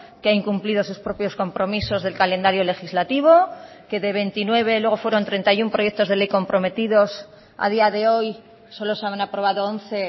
que ha incumplido sus propios compromisos del calendario legislativo que de veintinueve luego fueron treinta y uno proyectos de ley comprometidos a día de hoy solo se han aprobado once